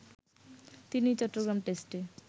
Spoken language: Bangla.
তিনিই চট্টগ্রাম টেস্টে